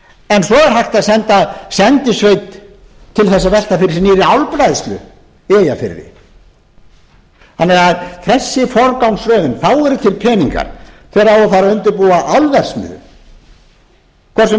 en svo er hægt að senda sendisveit til að velta fyrir sér nýrri álbræðslu í eyjafirði þannig að þessi forgangsröðun þá eru til peningar þegar á að fara að undirbúa álverksmiðju hvort